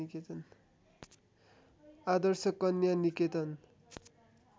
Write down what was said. आदर्श Kanya निकेतन